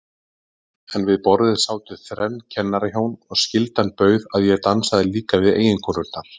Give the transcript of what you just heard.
En við borðið sátu þrenn kennarahjón, og skyldan bauð að ég dansaði líka við eiginkonurnar.